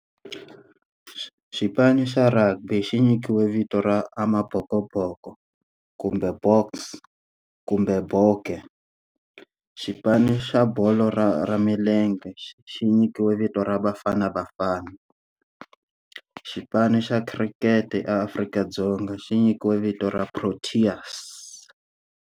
Xipano xa rugby xi nyikiwe vito ra Amabhokobhoko kumbe Boks kumbe Bokke. Xipano xa bolo ra ra milenge xi xi nyikiwe vito ra Bafana Bafana. Xipano xa khirikhete eAfrika-Dzonga xi nyikiwe vito ra Proteas.